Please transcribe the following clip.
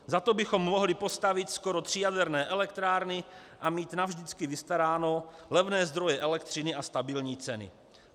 Za to bychom mohli postavit skoro tři jaderné elektrárny a mít navždycky vystaráno, levné zdroje elektřiny a stabilní ceny.